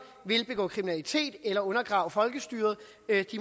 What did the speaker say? vil begå kriminalitet eller undergrave folkestyret